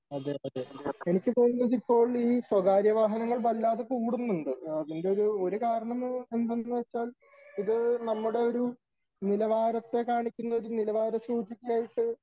അതേ അതേ . എനിക്ക് തോന്നുന്നത് ഇപ്പോൾ സ്വകാര്യ വാഹനങ്ങൾ വല്ലാതെ കൂടുന്നുണ്ട് . അതിലൊരു കാരണം എന്തെന്ന് വച്ചാൽ ഇത് നമ്മുടെ ഒരു നിലവാരത്തെ കാണിക്കുന്ന നിലവാര സൂചിക ആയിട്ട്